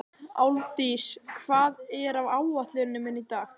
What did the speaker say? Álfdís, hvað er á áætluninni minni í dag?